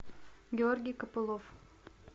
георгий копылов